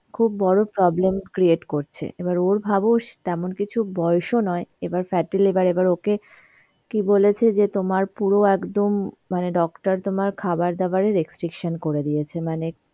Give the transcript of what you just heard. খুব বড় problem create করছে. এবার ওর ভাবো স~ তেমন কিছু বয়সও নয় এবার fatty liver এবার ওকে কি বলেছে যে তোমার পুরো একদম মানে doctor তোমার খাবার দাবারে restriction করে দিয়েছে মানে